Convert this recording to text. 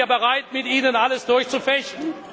Dann sind wir bereit, mit Ihnen alles durchzufechten.